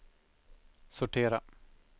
sortera